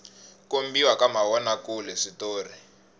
kombiwa ka mavona kule switori